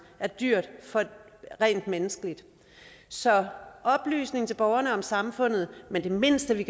er dyrt rent menneskeligt så der skal oplysning til borgerne om samfundet men det mindste vi